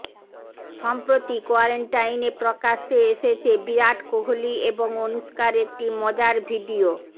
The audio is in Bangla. সম্প্রতি কোয়ারেন্টাইনে প্রকাশ্যে এসেছে বিরাট কোহলি এবং অনুষ্কার একটি মজার ভিডিও